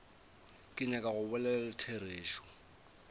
ke nyaka go bolela therešo